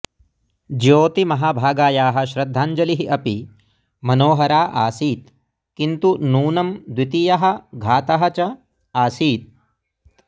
ज्योतिमहाभागायाः श्रद्धाञ्जलिः अपि मनोहरा आसीत् किन्तु नूनं द्वितीयः घातः च आसीत्